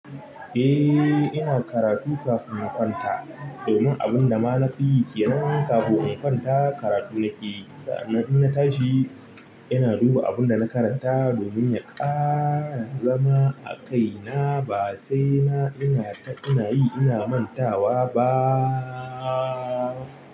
Eh, ina karatu kafin in kwanta domin abun da ma na fi yi ƙenan kafin in kwanta karatu nake yi. Sa'annan in na tashi ina duba abun da na karanta domin ya ƙara zama a kaina ba sai na, ina, ina yi ina mantawa baaa.